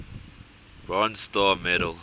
bronze star medal